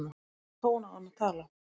Í hvaða tón á hann að tala?